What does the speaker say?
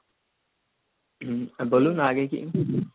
হম বলুন আগে কী?